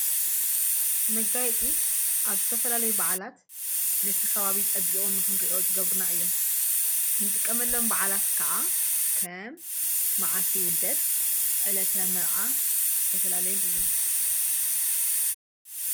መጋይፂ ኣብ ዝተፈላለይ በዓላት ነቲ ኻባቢ ጸቢዑን ምኽንርእኦ ዝገብሩና እዮም። ንጥቀመሎም ባዕላት ከዓ ከም መዓልቲ ይውልደት ዕለተ መርዓ ብስተፈላለዩን እዮም።